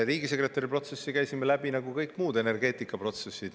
Riigisekretäri protsessi käisime läbi nagu kõik muud energeetikaprotsessid.